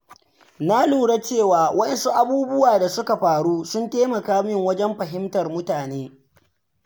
Na lura cewa wasu abubuwa da suka faru sun taimaka min wajen fahimtar mutane.